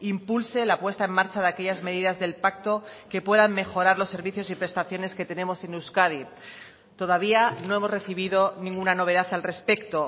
impulse la puesta en marcha de aquellas medidas del pacto que puedan mejorar los servicios y prestaciones que tenemos en euskadi todavía no hemos recibido ninguna novedad al respecto